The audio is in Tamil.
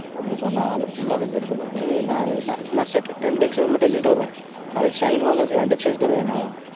அவன் சொன்னான் நான் full ஆ லாம் எழுதலை பரணி நான் second ரெண்டு experiment மட்டும் எழுதிட்டு வருவன் நாளைக்கு sign வாங்கறதுக்கு ரெண்டு experiment தான வேணும்.